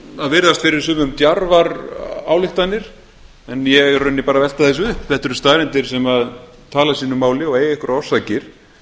að virðast fyrir sumum djarfar ályktanir en ég er í rauninni bara að velta þessu upp þetta eru staðreyndir sem tala sínu máli og eiga einhverjar orsakir